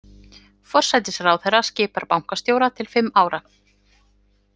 Forsætisráðherra skipar bankastjóra til fimm ára.